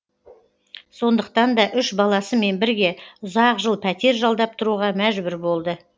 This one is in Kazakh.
сондықтан да үш баласымен бірге ұзақ жыл пәтер жалдап тұруға мәжбүр болды